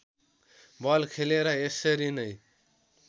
बल खेले र यसरी नै